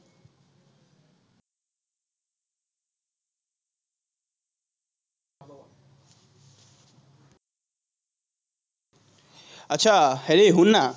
আটচা, হেৰি শুন না,